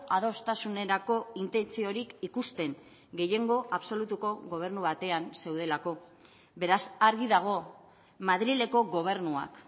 adostasunerako intentziorik ikusten gehiengo absolutuko gobernu batean zeudelako beraz argi dago madrileko gobernuak